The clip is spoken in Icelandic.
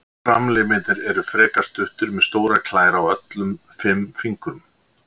Framlimirnir eru frekar stuttir með stórar klær á öllum fimm fingrum.